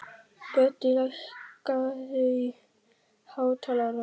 Böddi, lækkaðu í hátalaranum.